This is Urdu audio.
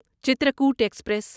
چترکوٹ ایکسپریس